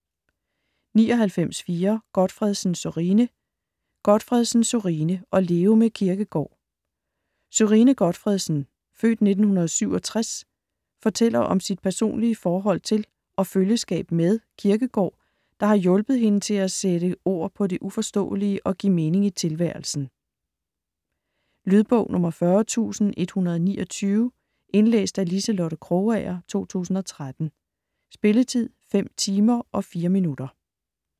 99.4 Gotfredsen, Sørine Gotfredsen, Sørine: At leve med Kierkegaard Sørine Gotfredsen (f. 1967) fortæller om sit personlige forhold til og følgeskab med Kierkegaard, der har hjulpet hende til at sætte ord på det uforståelige og give mening til tilværelsen. Lydbog 40129 Indlæst af Liselotte Krogager, 2013. Spilletid: 5 timer, 4 minutter.